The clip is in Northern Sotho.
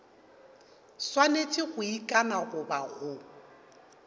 swanetše go ikana goba go